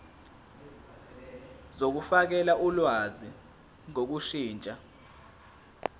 zokufakela ulwazi ngokushintsha